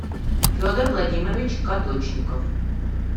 федор владимирович кадочников